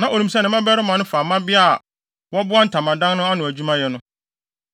na onim sɛ ne mmabarima no fa mmabaa a wɔboa ntamadan no ano adwumayɛ no.